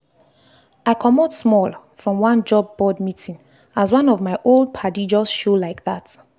i comot small from one job board meeting as one of my old padi just show like that.